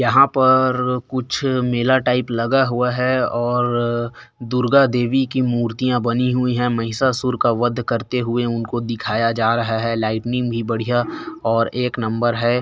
यहाँ पर कुछ मेला टाइप लगा हुआ है और दुर्गा देवी की मूर्तिया बनी हुई है महिसासुर का वध करते हुए उनको दिखाया जा रहा है लाइटिनिंग भी बढ़िया और एक नंबर है।